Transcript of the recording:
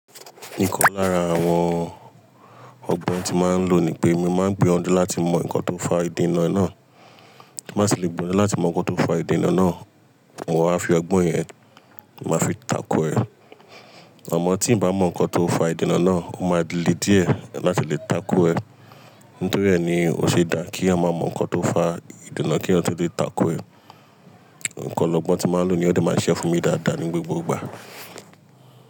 Nìkan lára àwọn ọgbọ́n tí màá n lo ni pé, màá n gbìyànjú láti mọ nǹkan tó fà ìdènà náà, ti bá tì le gbìyànjú láti mọ nǹkan tó fà ìdènà náà, ma wa fi ọgbọ́n yẹn, màá fi takò ẹ. Amọ tí ì bá mọ nǹkan tó fà ìdènà náà, o máa le díẹ̀ láti le takò ẹ. Nítorí rẹ̀ ni o ṣe dá kí a máa mọ nǹkan tó fà ìdènà kí eeyan tọ̀ le takò ẹ. Nǹkan ọlogbọ́n tí màá n lo ni yen ó de máa ṣise fún mi dáadáa ní gbogbo ìgbà.